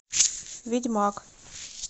ведьмак